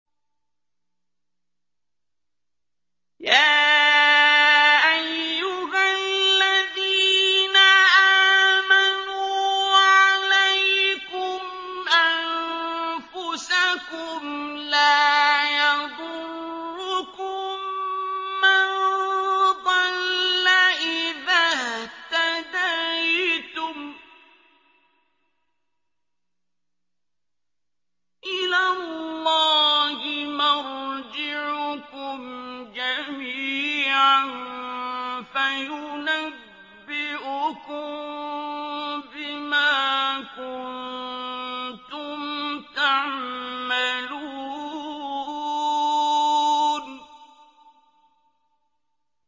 يَا أَيُّهَا الَّذِينَ آمَنُوا عَلَيْكُمْ أَنفُسَكُمْ ۖ لَا يَضُرُّكُم مَّن ضَلَّ إِذَا اهْتَدَيْتُمْ ۚ إِلَى اللَّهِ مَرْجِعُكُمْ جَمِيعًا فَيُنَبِّئُكُم بِمَا كُنتُمْ تَعْمَلُونَ